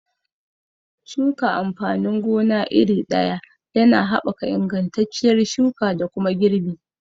Shuka amfanin gona iri ɗaya yana haɓaka ingantacciyar shuka da kuma girbi